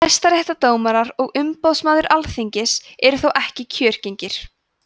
hæstaréttardómarar og umboðsmaður alþingis eru þó ekki kjörgengir